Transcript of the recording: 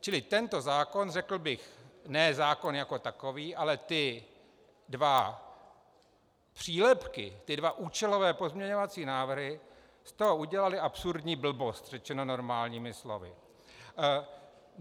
Čili tento zákon, řekl bych, ne zákon jako takový, ale ty dva přílepky, ty dva účelové pozměňovací návrhy, z toho udělaly absurdní blbost, řečeno normálními slovy.